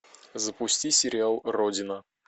запусти сериал родина